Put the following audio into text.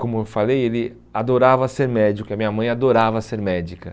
como eu falei, ele adorava ser médico, e a minha mãe adorava ser médica.